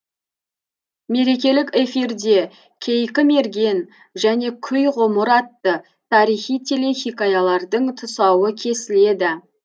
мерекелік эфирде кейкі мерген және күй ғұмыр атты тарихи телехикаялардың тұсауы кесіледі